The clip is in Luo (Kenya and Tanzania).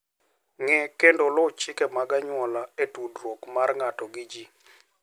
Ng'e kendo luw chike mag anyuola e tudruok mar ng'ato gi ji.